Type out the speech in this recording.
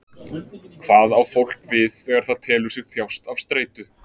Hvað á fólk við þegar það telur sig þjást af streitu?